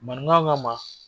Maninka k'a ma